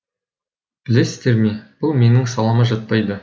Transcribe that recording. білесіздер ме бұл менің салама жатпайды